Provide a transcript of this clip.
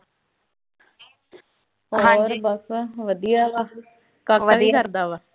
ਹੋਰ ਬਸ ਵਧੀਆ ਬਸ। ਕਾਕਾ ਕੀ ਕਰਦਾ ਵਾ।